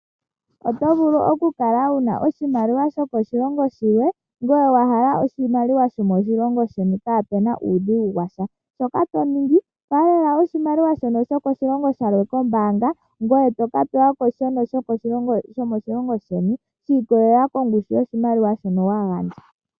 Oto vulu okukala wuna oshimaliwa sho koshilongo shilwe, ngoye wahala oshimaliwa shomoshilongo sheni kapena uudhigu washa, shoka toningi falela oshimaliwa shono shokoshilongo shilwe kombaanga ngoye toka pewako shono shomoshilongo sheni shiikololela kongushu yoshimaliwa shono wagandja.